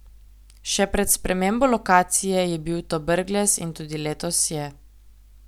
Še pred spremembo lokacije je bil to Brglez in tudi letos je.